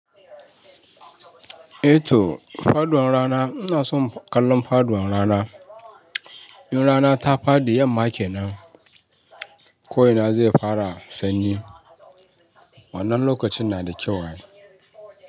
Eh to faduwar rana ina son kallon faduwar rana. In rana ta faɗi yamma kenan, ko ina zai fara sanyi. Wannan lokacin na da kyau ai.